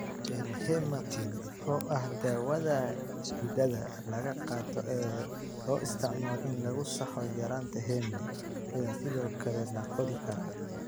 Panhematin, oo ah daawada xididada laga qaato ee loo isticmaalo in lagu saxo yaraanta heme, ayaa sidoo kale la qori karaa.